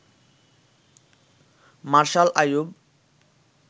martial Ayub